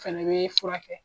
O fɛnɛ bɛ furakɛ.